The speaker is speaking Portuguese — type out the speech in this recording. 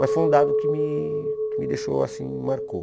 Mas foi um dado que me me deixou, assim, marcou.